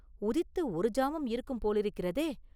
உதித்து ஒரு ஜாமம் இருக்கும் போலிருக்கிறதே!